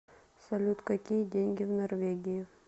салют какие деньги в норвегии